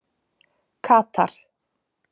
Katar